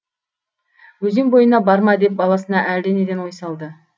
өзен бойына барма деп баласына әлденеден ой салды